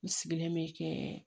N sigilen bɛ kɛ